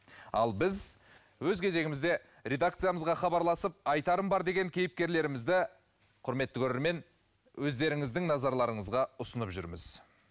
ал біз өз кезегімізде редакциямызға хабарласып айтарым бар деген кейіпкерлерімізді құрметті көрермен өздеріңіздің назарларыңызға ұсынып жүрміз